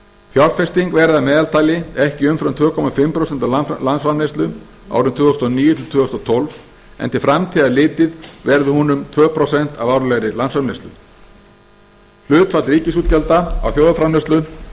fjárfesting verði að meðaltali ekki umfram tvö og hálft prósent af landsframleiðslu árin tvö þúsund og níu til tvö þúsund og tólf en til framtíðar litið verði hún um tvö prósent af árlegri landsframleiðslu hlutfall ríkisútgjalda af þjóðarframleiðslu